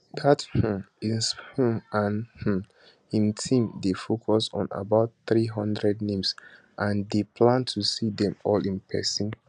det um insp humm and um im team dey focus on about 300 names and dey plan to see dem all in pesin